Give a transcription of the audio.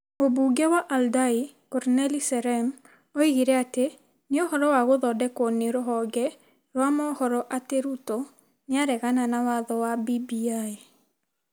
Mũmbunge wa Aldai, Cornelly Serem, oigire atĩ nĩ ũhoro wa gũthondekwo nĩ rũhonge rwa mohoro atĩ Ruto nĩ areganaga na watho wa BBI.